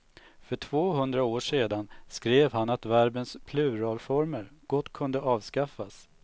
För tvåhundra år sedan skrev han att verbens pluralformer gott kunde avskaffas.